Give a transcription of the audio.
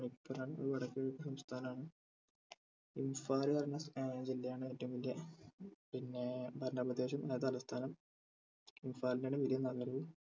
മണിപ്പൂർ ആണ് അത് വടക്ക്കിഴക്ക് സംസ്ഥാനാണ് ഇൻഫാൽ ആണ് ഏർ ജില്ലയാണ് ഏറ്റവും വലിയ പിന്നെ ഭരണപ്രദേശം അതായേ തലസ്ഥാനം ഇൻഫാൽ തന്നെ വലിയ നഗരവും